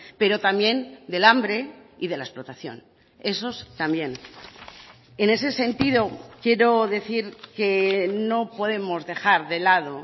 pero también del hambre y de la explotación esos también en ese sentido quiero decir que no podemos dejar de lado